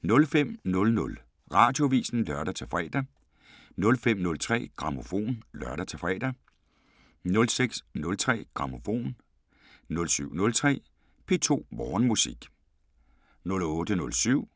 05:00: Radioavisen (lør-fre) 05:03: Grammofon (lør-fre) 06:03: Grammofon 07:03: P2 Morgenmusik 08:07: